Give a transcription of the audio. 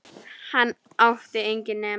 Hann átti enginn nema